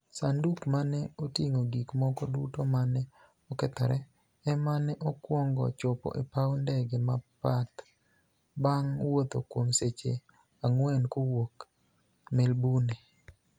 Saaniduk ma ni e otinig'o gik moko duto ma ni e okethore, ema ni e okwonigo chopo e paw nidege ma Perth, banig' wuotho kuom seche anig'weni kowuok Melbourni e.